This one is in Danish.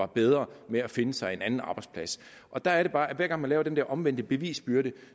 bedre ved at finde sig en anden arbejdsplads der er det bare at hver gang man laver den der omvendte bevisbyrde